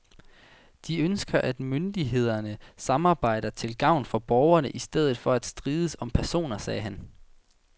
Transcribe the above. De ønsker, at myndighederne samarbejder til gavn for borgerne i stedet for at strides om personer, sagde han.